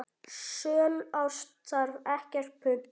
Sönn ást þarf ekkert punt.